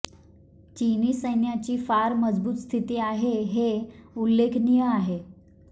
चिनी सैन्याची फार मजबूत स्थिती आहे हे उल्लेखनीय आहे